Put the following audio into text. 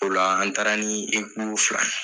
O la an taara ni fila.